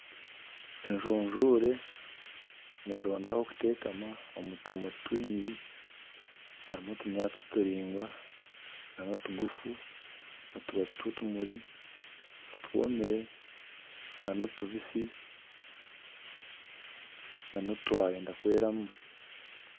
Ejunjure neronda aho kutekama omu tumuri twingi harimu otunyaatsi turaingwa n'otuguufu, otubaabi tw'otumuri otwomire n'otubitsi notwayenda kweramu.